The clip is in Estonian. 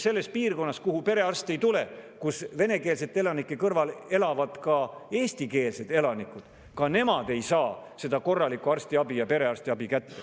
Selles piirkonnas, kuhu perearste ei tule, elavad venekeelsete elanike kõrval ka eestikeelsed elanikud, kes ka ei saa korralikku arstiabi ja perearstiabi.